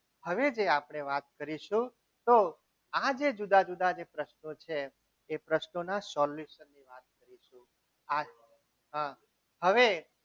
આપણે વાત કરીશું તો આજે જુદા જુદા પ્રશ્નો છે એ પ્રશ્નોના solution આ હવે